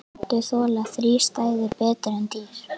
Plöntur þola þrístæður betur en dýr.